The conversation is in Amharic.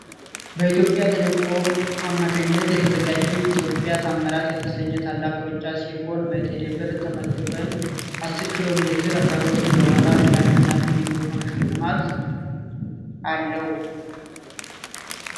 በኢትዮጵያ ቴሌኮም አማካኝነት የተዘጋጀ ኢትዮጵያ ታምራት የተሰኘ ታላቅ ሩጫ ሲሆን በቴሌ ብር ተመዝግበን አስር ኪሎ ሜትር ከሮጥም በኋላ ለአሸናፊው ልዩ የሆነ ሽልማት አለው።